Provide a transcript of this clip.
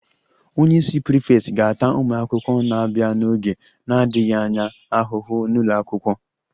Onye isi prefect ga-ata ụmụ akwụkwọ na-abịa n'oge na-adịghị anya ahụhụ n'ụlọ akwụkwọ